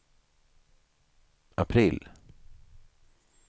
april